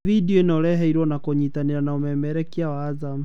Bidio ĩno ũreheirwo na kũnyitanĩra n umemerekia wa Azam.